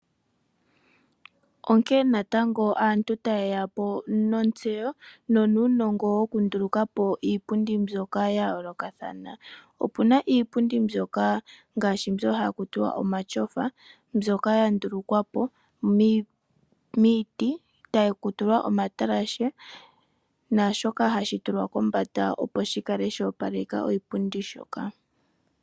Onkene ngaa natango aantu taye ya po nontseyo nonuunongo wokunduluka po iipundi mbyoka ya yoolokathana. Opu na iipundi mbyoka ngaashi mbyo haku tiwa omatyofa mbyoka ya ndulukwa po miiti taku tulwa omatalashe naashoka hashi tulwa kombanda opo shi kale sho opaleka oshipundi shoka.